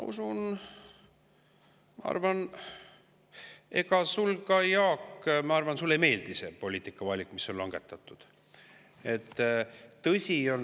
Ja ega sulle ka, Jaak, ma arvan, ei meeldi see poliitikavalik, mis on tehtud.